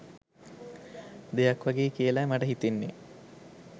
දෙයක් වගේ කියලයි මට හිතෙන්නේ